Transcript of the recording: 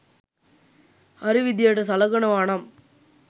හරි විදියට සළකනවා නම්